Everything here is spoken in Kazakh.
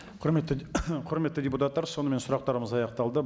құрметті құрметті депутаттар сонымен сұрақтарымыз аяқталды